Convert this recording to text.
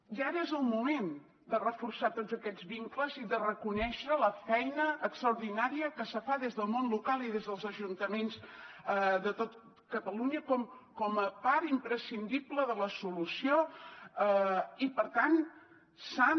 i ara és el moment de reforçar tots aquests vincles i de reconèixer la feina extraordinària que se fa des del món local i des dels ajuntaments de tot catalunya com a part imprescindible de la solució i per tant s’han